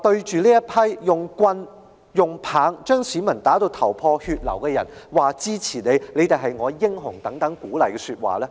是誰向使用棍棒把市民打至頭破血流的人高聲說出"支持你"及"你們是我的英雄"等鼓勵的說話呢？